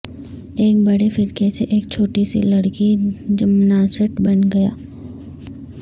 ایک بڑے فرقہ سے ایک چھوٹی سی لڑکی جمناسٹ بن گیا